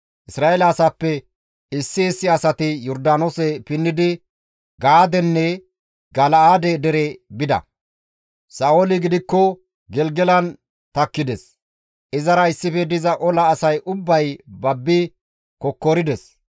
Isra7eele asaappe issi issi asati Yordaanoose pinnidi Gaadenne Gala7aade dere bida. Sa7ooli gidikko Gelgelan takkides; izara issife diza ola asay ubbay babbi kokkorides.